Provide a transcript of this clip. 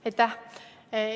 Aitäh!